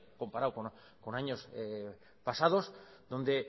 comparado con años pasados donde